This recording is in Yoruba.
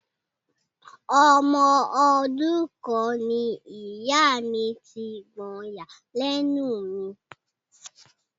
Ọmọ ọdún kan ni ìyá mi ti gbọyàn lẹ́nu mi.